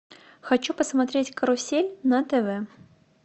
хочу посмотреть карусель на тв